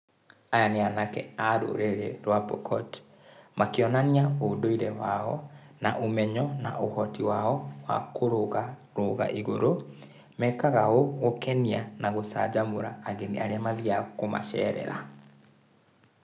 Aya nĩ anake a rũrĩrĩ rwa Pokot, makĩonania ũndũire wao na ũmenyo na ũhoti wao wa kũrũgarũga igũrũ, mekaga ũũ gũkenia na gũcanjamũra ageni arĩa mathiaga kũmacerera.